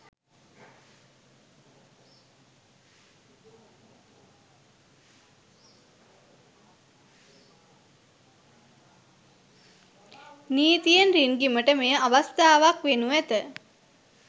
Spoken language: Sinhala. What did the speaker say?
නීතියෙන් රින්ගිමට මෙය අවස්ථාවක් වෙනු ඇත